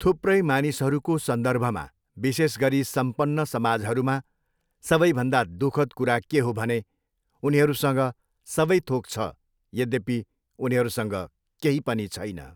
थुप्रै मानिसहरूको सन्दर्भमा विशेषगरी सम्पन्न समाजहरूमा सबैभन्दा दु खद कुरा के हो भने उनीहरूसँग सबैथोक छ यद्यपि उनीहरूसँग केही पनि छैन।